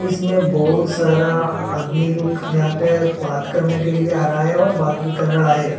इसमें बहुत सारा आदमी लोग यहां पे बात करने के लिए आ रहा है और बात भी कर रहा है।